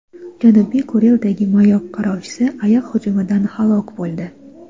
Janubiy Kurildagi mayoq qarovchisi ayiq hujumidan halok bo‘ldi.